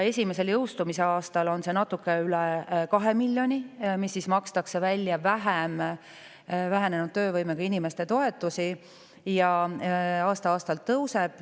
Esimesel jõustumise aastal makstakse vähenenud töövõimega inimeste toetusi välja natuke üle 2 miljoni vähem ja aasta-aastalt see.